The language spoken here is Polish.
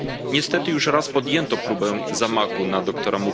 Niestety już raz podjęto próbę zamachu na dr.